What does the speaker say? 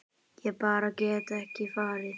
Ég bara get ekki farið